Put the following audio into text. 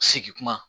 Segi kuma